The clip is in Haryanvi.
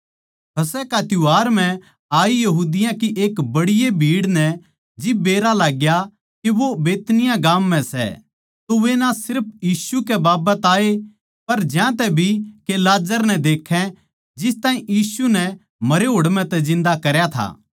फसह का त्यौहार म्ह आई यहूदिया की बड़ीए भीड़ नै जिब बेरा लागग्या के वो बैतनिय्याह गाम म्ह सै तो वे ना सिर्फ यीशु कै बाबत आये पर ज्यांतै भी के लाजर नै देक्खै जिस ताहीं यीशु मसीह नै मरया होड़ म्ह तै जिन्दा करया था